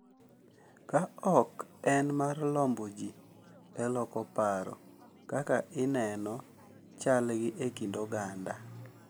Ka ok en mar lombo ji e loko paro kaka ineno chalgi e kind oganda.